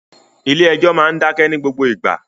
Ilé ẹ́jọ́ máa ń dákẹ́ ní gbogbo ìgbà